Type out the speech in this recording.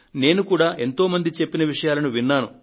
నేను కూడా ఎంతో మంది చెప్పిన విషయాలను విన్నాను